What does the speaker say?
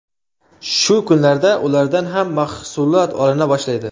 Shu kunlarda ulardan ham mahsulot olina boshlaydi.